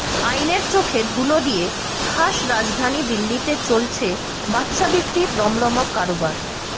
আইনের চোখে ধুলো দিয়ে খাস রাজধানী দিল্লিতে চলছে বাচ্চা বিক্রির রমরমা কারবার